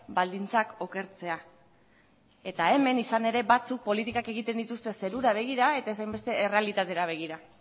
baldintzak okertzea eta hemen izan ere batzuk politikak egiten dituzte zerura begira eta ez hainbeste errealitatera begira